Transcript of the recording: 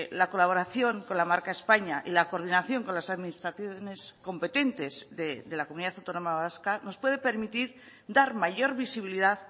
la colaboración con la marca españa y la coordinación con las administraciones competentes de la comunidad autónoma vasca nos puede permitir dar mayor visibilidad